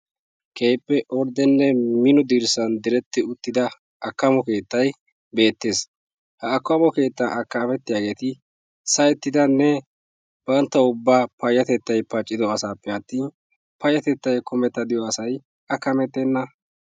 keehippe orddenne mino dirssa direttida akkamo keettay beettees. ha akkamo keettan akamettiyaageeti sahettidaanne banttaw payatettay paccido asappe atin payatettay pay diyaa asay akkamettena.